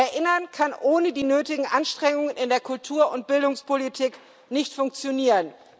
Erinnern kann ohne die nötigen Anstrengungen in der Kultur und Bildungspolitik nicht funktionieren.